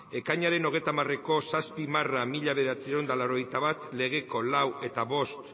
ekainaren hogeita hamareko zazpi barra mila bederatziehun eta laurogeita bat legeko lau eta bost